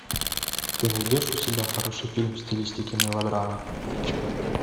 ты найдешь у себя хороший фильм в стилистике мелодрама